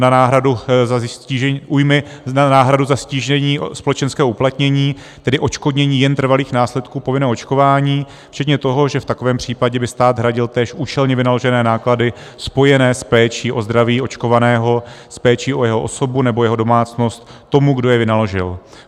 na náhradu za ztížení společenského uplatnění, tedy odškodnění jen trvalých následků povinného očkování včetně toho, že v takovém případě by stát hradil též účelně vynaložené náklady spojené s péčí o zdraví očkovaného, s péčí o jeho osobu nebo jeho domácnost tomu, kdo je vynaložil.